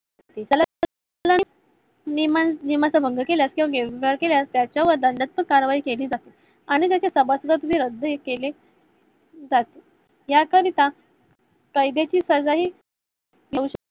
नियमांचा भंग केल्यास केल्यास त्याच्या विरोधात सक्त कारवाई केली जाते आणि त्याचे सभास्तव ही रद्द केले जाते. याकरिता कायद्याची